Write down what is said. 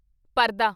ਪਰਦਾ